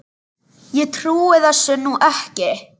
Ég trúi þessu nú ekki!